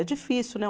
É difícil, né?